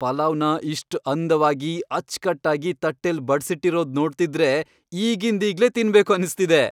ಪಲಾವ್ನ ಇಷ್ಟ್ ಅಂದವಾಗಿ, ಅಚ್ಕಟ್ಟಾಗಿ ತಟ್ಟೆಲ್ ಬಡ್ಸಿಟ್ಟಿರೋದ್ ನೋಡ್ತಿದ್ರೆ ಈಗಿಂದೀಗ್ಲೇ ತಿನ್ಬೇಕು ಅನ್ಸ್ತಿದೆ.